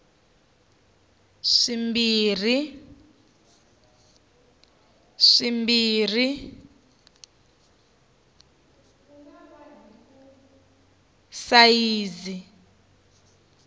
swimbirhi swa sayizi ya pasipoto